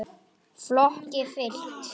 Flokki fylkt.